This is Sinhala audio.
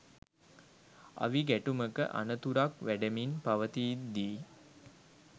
අවි ගැටුමක අනතුරක් වැඩෙමින් පවතිද්දීයි